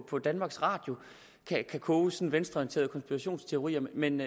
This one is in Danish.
på danmarks radio kan koges sådan nogle venstreorienterede konspirationsteorier men